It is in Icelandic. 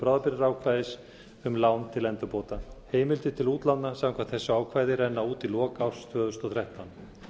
bráðabirgðaákvæðis um lán til endurbóta heimildir til útlána samkvæmt þessu ákvæði renna út í lok árs tvö þúsund og þrettán